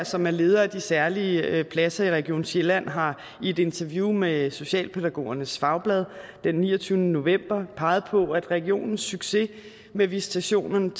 som er leder af de særlige pladser i region sjælland har i et interview med socialpædagogernes fagblad den niogtyvende november peget på at regionens succes med visitationen